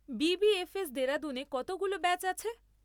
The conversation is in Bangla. বি.বি.এফ.এস দেরাদুনে কতগুলো ব্যাচ আছে?